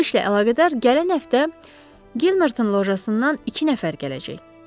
Bu işlə əlaqədar gələn həftə Gilmerton lojasından iki nəfər gələcək.